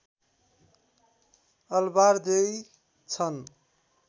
ElBaradei छन्